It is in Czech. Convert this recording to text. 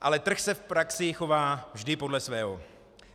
Ale trh se v praxi chová vždy podle svého.